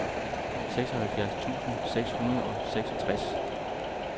seksoghalvfjerds tusind seks hundrede og seksogtres